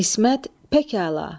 İsmət, pekala.